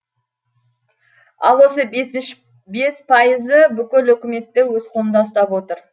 ал осы бес пайызы бүкіл өкіметті өз қолында ұстап отыр